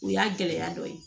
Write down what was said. O y'a gɛlɛya dɔ ye